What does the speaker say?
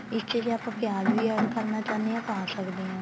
ਇਸ ਚ ਜੇ ਆਪਾਂ ਪਿਆਜ ਵੀ add ਕਰਨਾ ਚਾਹੁੰਦੇ ਆ ਪਾ ਸਕਦੇ ਆ